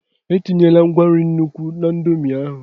etinyekwala ngwa nri n'nukwu na indomie m!